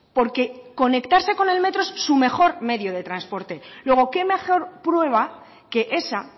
porque conectarse con el metro es su mejor medio de transporte luego qué mejor prueba que esa